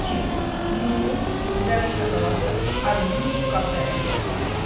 İki, mumu və şokoladı alüminium qabda əridək.